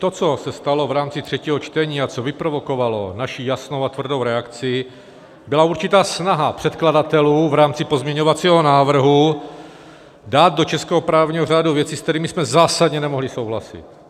To, co se stalo v rámci třetího čtení a co vyprovokovalo naši jasnou a tvrdou reakci, byla určitá snaha předkladatelů v rámci pozměňovacího návrhu dát do českého právního řádu věci, se kterými jsme zásadně nemohli souhlasit.